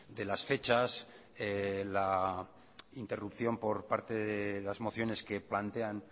de las fechas la interrupción por parte de las mociones que plantean